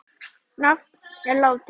Rafn er látinn.